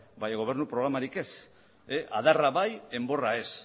baina gobernu programarik ez adarra bai enborra ez